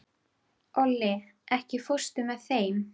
Olli, ekki fórstu með þeim?